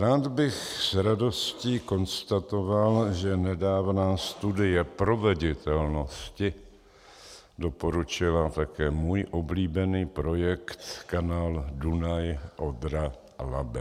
Rád bych s radostí konstatoval, že nedávná studie proveditelnosti doporučila také můj oblíbený projekt kanál Dunaj-Odra-Labe.